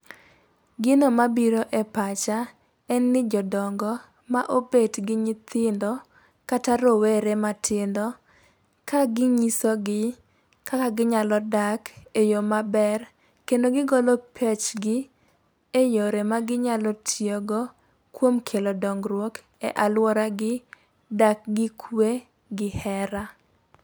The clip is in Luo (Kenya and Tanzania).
Gino mabiro e pacha en ni jodongo ma obet gi nyithindo kata rowere matindo ka ginyiso gi kaka ginyalo dak e yo maber. Kendo gigolo pechegi e yore ma ginyalo tiyo go kuom kelo dongruok e aluora gi dak gi kwe gi hera.